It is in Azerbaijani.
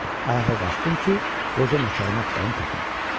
Ayağa qalxdım ki, qoca nökərimi axtarıb tapım.